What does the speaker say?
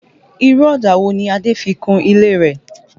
Irú ọ̀dà wo ni Adé fi kun ilé rẹ̀?